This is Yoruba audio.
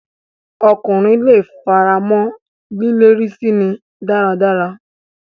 Ọkùnrin leè f'ara mọ́ lílérí síni dáradára.